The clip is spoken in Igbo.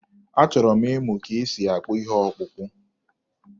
Achọrọ m ịmụ ka e si akpụ ihe ọkpụkpụ.